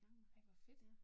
Ej hvor fedt